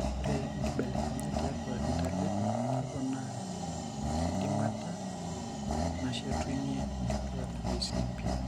Ore inkibelekenyat tiatua intalip keponaa enkidimata neshetunyie inkituak ICP.